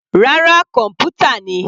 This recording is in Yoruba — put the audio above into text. Rárá, kọ̀npútà ni.